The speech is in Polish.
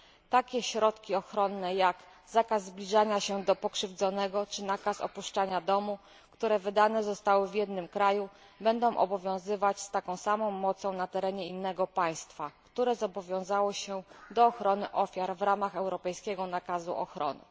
Takie środki ochronne jak zakaz zbliżania się do pokrzywdzonego czy nakaz opuszczania domu, które wydane zostały w jednym kraju, będą obowiązywać z taką samą mocą na terenie innego państwa, które zobowiązały się do ochrony ofiar w ramach europejskiego nakazu ochrony.